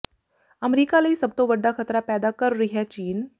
America ਲਈ ਸਭ ਤੋਂ ਵੱਡਾ ਖਤਰਾ ਪੈਦਾ ਕਰ ਰਿਹੈ ਚੀਨ